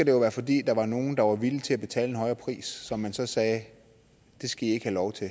jo være fordi der var nogle der var villige til at betale en højere pris og hvor man så sagde det skal i ikke have lov til